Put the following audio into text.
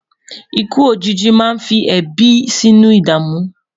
ikú òjìji má ní fí ebi sínú idamu